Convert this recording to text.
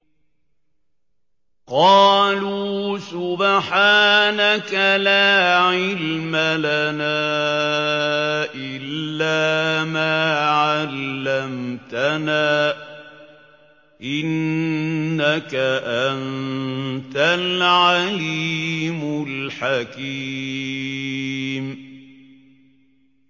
قَالُوا سُبْحَانَكَ لَا عِلْمَ لَنَا إِلَّا مَا عَلَّمْتَنَا ۖ إِنَّكَ أَنتَ الْعَلِيمُ الْحَكِيمُ